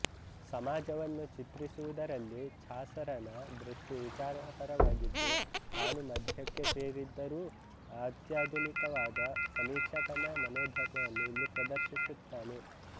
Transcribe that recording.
ಸಮಾಜವನ್ನು ಚಿತ್ರಿಸುವುದರಲ್ಲಿ ಛಾಸರನ ದೃಷ್ಟಿ ವಿಚಾರಪರವಾಗಿದ್ದು ತಾನು ಮಧ್ಯಕ್ಕೆ ಸೇರಿದ್ದರೂ ಅತ್ಯಾಧುನಿಕನಾದ ಸಮೀಕ್ಷಕನ ಮನೋಧರ್ಮವನ್ನು ಇಲ್ಲಿ ಪ್ರದರ್ಶಿಸುತ್ತಾನೆ